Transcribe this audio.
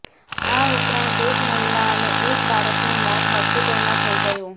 આ ઉપરાંત એક મહિલા અને એક બાળકનુ મોત હોસ્પિટલમાં થઈ ગયુ